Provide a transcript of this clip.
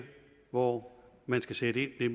hvor man skal sætte ind er